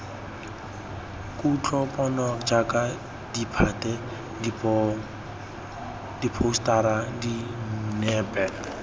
kutlopono jaaka ditphate diphousetara dinepe